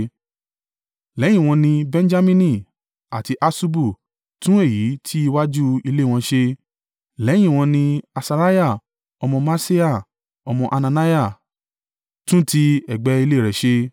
Lẹ́yìn wọn ni Benjamini àti Haṣubu tún èyí ti iwájú ilé wọn ṣe; lẹ́yìn wọn ni, Asariah ọmọ Maaseiah ọmọ Ananiah tún ti ẹ̀gbẹ́ ilé rẹ̀ ṣe.